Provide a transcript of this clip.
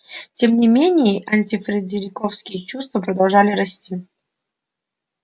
тем не менее антифредериковские чувства продолжали расти